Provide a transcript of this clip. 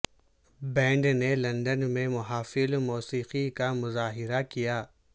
band نے London میں محافل موسیقی کا مظاہرہ کیا